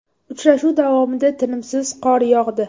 Uchrashuv davomida tinimsiz qor yog‘di.